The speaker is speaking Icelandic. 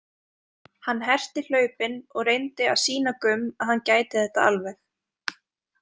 Hann herti hlaupin og reyndi að sýna Gumm að hann gæti þetta alveg.